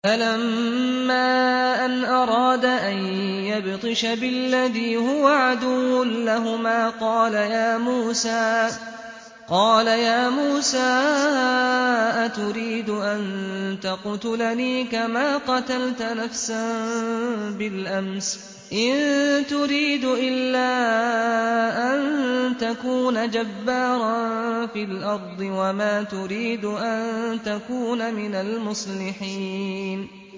فَلَمَّا أَنْ أَرَادَ أَن يَبْطِشَ بِالَّذِي هُوَ عَدُوٌّ لَّهُمَا قَالَ يَا مُوسَىٰ أَتُرِيدُ أَن تَقْتُلَنِي كَمَا قَتَلْتَ نَفْسًا بِالْأَمْسِ ۖ إِن تُرِيدُ إِلَّا أَن تَكُونَ جَبَّارًا فِي الْأَرْضِ وَمَا تُرِيدُ أَن تَكُونَ مِنَ الْمُصْلِحِينَ